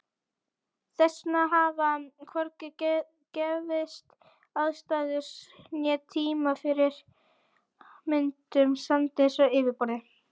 Þess vegna hafa hvorki gefist aðstæður né tími fyrir myndun sandsteins á yfirborði.